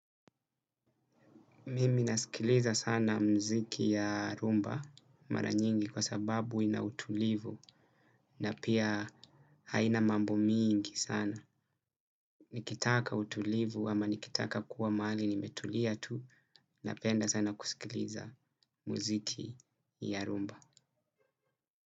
Mimi nasikiliza sana mziki ya rhumba mara nyingi kwa sababu ina utulivu na pia haina mambo mingi sana. Nikitaka utulivu ama nikitaka kuwa mahali nimetulia tu napenda sana kusikiliza mziki ya rumba.